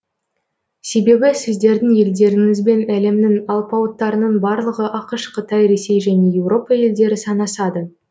себебі сіздердің елдеріңізбен әлемнің алпауыттарының барлығы ақш қытай ресей және еуропа елдері санасады